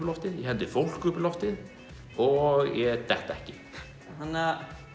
loftið ég hendi fólki upp í loftið og ég dett ekki þannig